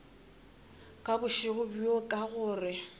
ka bošego bjo ka gore